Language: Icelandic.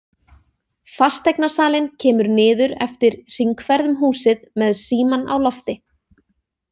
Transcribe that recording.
Fasteignasalinn kemur niður eftir hringferð um húsið með símann á lofti.